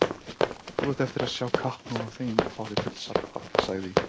Þú átt eftir að sjá kappnóg af þeim og fá þig fullsaddan, sagði